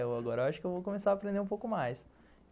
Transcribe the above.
Agora eu acho que eu vou começar a aprender um pouco mais.